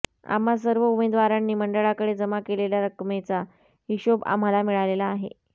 आम्हा सर्व उमेदवारांनी मंडळाकडे जमा केलेल्या रक्कमेचा हिशोब आम्हाला मिळालेला आहे